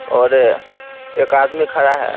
और एक आदमी खड़ा है।